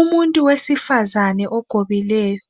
Umuntu wesifazana ogobileyo.